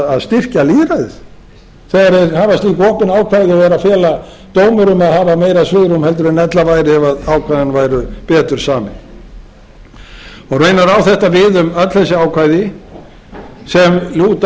að styrkja lýðræðið þegar þeir hafa slík opin ákvæði og eru að fela dómurum að hafa meira svigrúm heldur en ella væri ef ákvæðin væru betur samin raunar á þetta við um öll þessi ákvæði sem lúta að